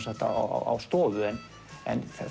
á stofu en